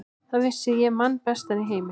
Þann vissi ég mann bestan í heimi.